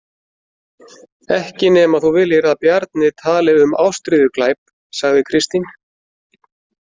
Ekki nema þú viljir að Bjarni tali um ástríðuglæp, sagði Kristín.